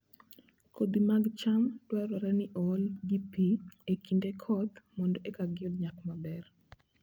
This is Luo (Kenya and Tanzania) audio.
Kodhi mag cham dwarore ni ool gi pi e kinde koth mondo eka giyud nyak maber